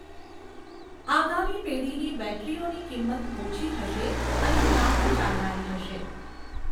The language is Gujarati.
આગામી પેઢીની બૅટરીઓની કિંમત ઓછી હશે અને લાંબુ ચાલનારી હશે.